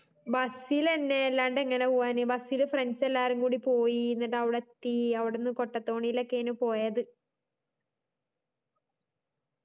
bus ഇലെന്നെ എല്ലാണ്ട് എങ്ങനാ പോവ്വാന് bus ഇല് friends എല്ലാരും കൂടി പോയി ന്നിട്ട് അവിടെത്തി അവിടുന്ന് കൊട്ടതോണീല് ഒക്കെയേനും പോയത്